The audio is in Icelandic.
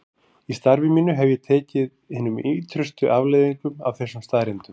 Í starfi mínu hef ég tekið hinum ýtrustu afleiðingum af þessum staðreyndum.